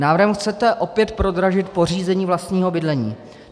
Návrhem chcete opět prodražit pořízení vlastního bydlení.